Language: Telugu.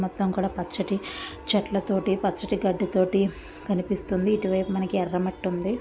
మొత్తం కూడా పచ్చటి చెట్ల తోటి పచ్చటి గడ్డి తోటి కనిపిస్తోంది ఇటువైపు మనకి ఎర్ర మట్టి ఉంది.